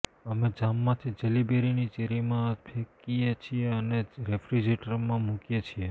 અમે જામમાંથી જેલી બેરીની ચેરીમાં ફેંકીએ છીએ અને રેફ્રિજરેટરમાં મૂકીએ છીએ